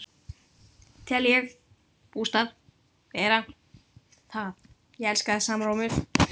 Tel ég bústað vera það.